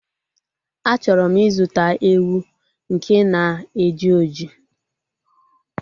A chọrọ m ịzụta ewu nke na-eji oji